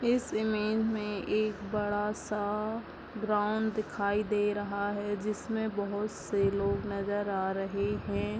इस इमेज में एक बडा-सा ग्राउंड दिखाई दे रहा है जिसमे बहोत से लोग नजर आ रहे हैं।